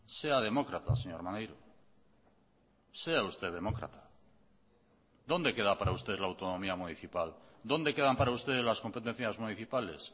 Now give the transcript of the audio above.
sea demócrata señor maneiro sea usted demócrata dónde queda para usted la autonomía municipal dónde quedan para usted las competencias municipales